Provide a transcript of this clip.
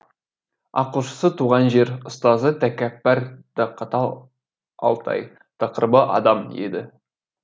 ақылшысы туған жер ұстазы тәкаппар да қатал алтай тақырыбы адам еді